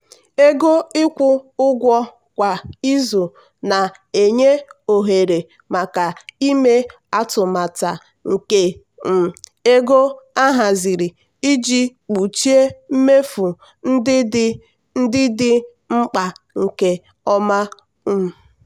ego ịkwụ ụgwọ kwa izu na-enye ohere maka ime atụmata nke um ego ahaziri iji kpuchie mmefu ndị dị ndị dị mkpa nke ọma. um